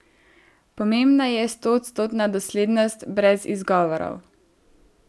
Pomembna je stoodstotna doslednost, brez izgovorov.